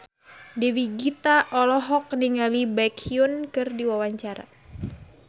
Dewi Gita olohok ningali Baekhyun keur diwawancara